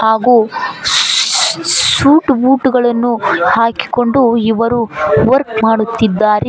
ಹಾಗೂ ಶೂಟು ಬೂಟುಗಳನ್ನು ಹಾಕಿಕೊಂಡು ವರ್ಕೌಟ್ ಮಾಡುತ್ತಿದ್ದಾರೆ.